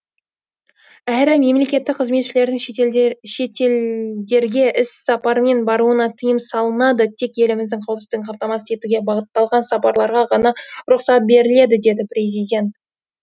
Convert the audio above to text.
әрі мемлекеттік қызметшілердің шетелдерге іссапармен баруына тыйым салынады тек еліміздің қауіпсіздігін қамтамасыз етуге бағытталған сапарларға ғана рұқсат беріледі деді президент